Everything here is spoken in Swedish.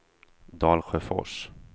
Dalsjöfors